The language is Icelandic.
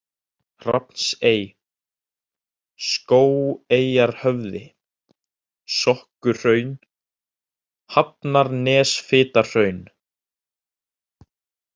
Hrafnsey, Skógeyjarhöfði, Sokkuhraun, Hafnarnesfitahraun